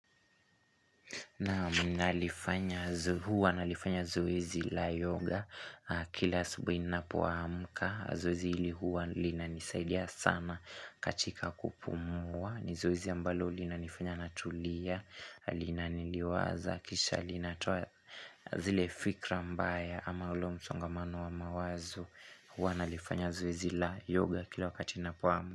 Naam nalifanya huwa nalifanya zoezi la yoga kila asubuhi ninapo amka, zoezi hili huwa lina nisaidia sana katika kupumua, ni zoezi ambalo linanifanya natulia, linaniliwaza, kisha linatoa zile fikra mbaya ama ule msongamano wa mawazo huwa nalifanya zoezi la yoga kila wakati ninapoamka.